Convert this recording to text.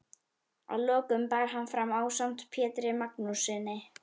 Að lokum bar hann fram ásamt Pjetri Magnússyni